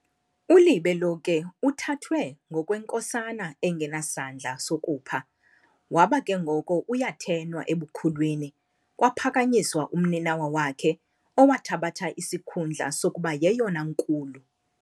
Ulibe lo ke uthathwe ngokwenkosana engenasandla sokupha, waba ke ngoko uyathenwa ebukhulwini, kwaphakanyiswa umninawa wakhe, owathabatha isikhundla sokuba yeyona nkulu.